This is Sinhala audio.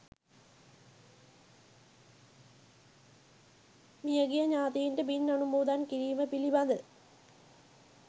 මිය ගිය ඥාතීන්ට පින් අනුමෝදන් කිරීම පිළිබඳ